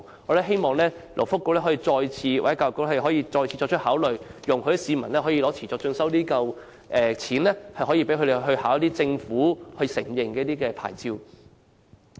我們希望勞工及福利局或教育局再次考慮，容許市民使用持續進修基金的津貼來考取政府所承認的牌照。